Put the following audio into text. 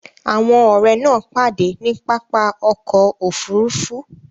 Àwọn ọ̀rẹ́ náà pàdé ní pápá ọkọ̀ Òfurufú